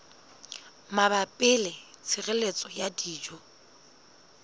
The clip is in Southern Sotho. mabapi le tshireletso ya dijo